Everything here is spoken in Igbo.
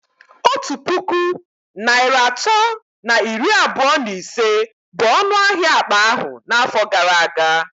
Otu puku naịra atọ na iri abụọ na ise bụ ọnụ ahịa akpa ahụ n'afọ gara aga